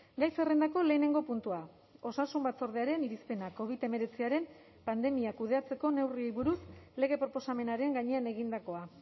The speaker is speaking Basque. gai zerrendako lehenengo puntua osasun batzordearen irizpena covid hemeretziaren pandemia kudeatzeko neurriei buruz lege proposamenaren gainean egindakoa